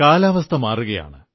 കാലാവസ്ഥ മാറുകയാണ്